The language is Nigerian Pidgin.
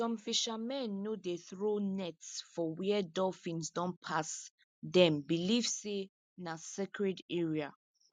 some fishermen no dey throw nets for where dolphins don pass them believe say na sacred area